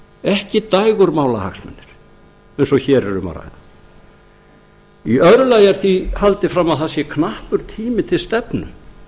ekki dægurmálahagsmunir eins og hér er um að ræða í öðru lagi er því haldið fram að það sé knappur tími til stefnu